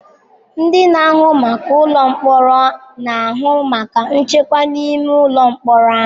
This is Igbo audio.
Ndị na-ahụ maka ụlọ mkpọrọ na-ahụ maka nchekwa n'ime ụlọ mkpọrọ ahụ.